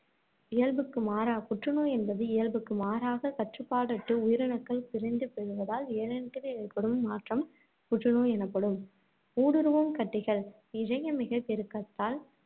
இயல்புக்கு மாறா புற்று நோய் என்பது இயல்புக்கு மாறாகக் கட்டுப்பாடற்று உயிரணுக்கள் பிரிந்து பெருகுவதால் இழையங்களில் ஏற்படும் மாற்றம் புற்று நோய் எனப்படும். ஊடுருவும் கட்டிகள் இழைய மிகைப்பெருக்கத்தால்